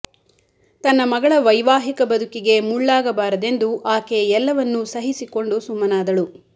ತನ್ನ ಮಗಳ ವೈವಾಹಿಕ ಬದುಕಿಗೆ ಮುಳ್ಳಾಗಬಾರದೆಂದು ಆಕೆ ಎಲ್ಲವನ್ನು ಸಹಿಸಿಕೊಂಡು ಸುಮ್ಮನಾದಳು